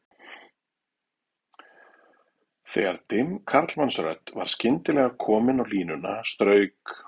Þegar dimm karlmannsrödd var skyndilega komin á línuna strauk